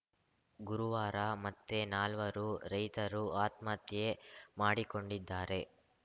ಗುರುವಾರ ಮತ್ತೆ ನಾಲ್ವರು ರೈತರು ಆತ್ಮಹತ್ಯೆ ಮಾಡಿಕೊಂಡಿದ್ದಾರೆ